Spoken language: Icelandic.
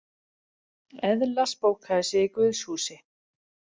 Eðla spókaði sig í guðshúsi